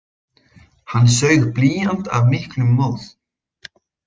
Hann saug blýant af miklum móð.